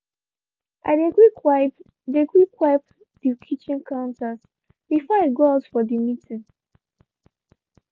i dey quick wiped dey quick wiped dey kitchen counters before i go out for dey meeting.